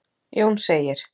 Jón segir: